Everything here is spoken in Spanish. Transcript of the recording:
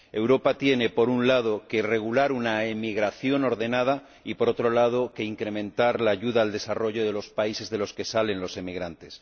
Europa tiene, por un lado, que regular una emigración ordenada y, por otro lado, incrementar la ayuda al desarrollo de los países de origen de los emigrantes.